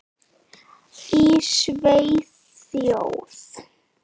Í Svíþjóð